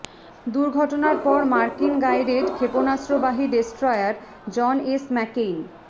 দুর্ঘটনার পর মার্কিন গাইডেড ক্ষেপণাস্ত্রবাহী ডেস্ট্রয়ার জন এস ম্যাকেইন